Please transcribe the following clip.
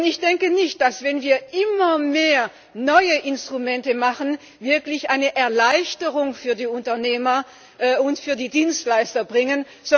Ich denke nicht, dass wir wenn wir immer mehr neue Instrumente machen wirklich eine Erleichterung für die Unternehmer und für die Dienstleister bringen.